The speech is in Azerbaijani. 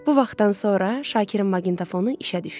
Bu vaxtdan sonra Şakirin maqintofonu işə düşdü.